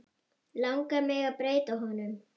Langar mig að breyta honum?